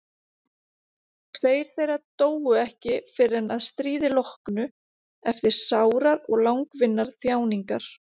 Tveir þeirra dóu ekki fyrr en að stríði loknu eftir sárar og langvinnar þjáningar.